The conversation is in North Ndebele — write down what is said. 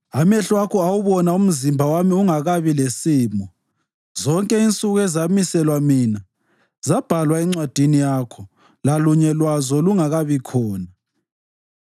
amehlo akho awubona umzimba wami ungakabi lesimo. Zonke insuku ezamiselwa mina zabhalwa encwadini yakho lalunye lwazo lungakabi khona.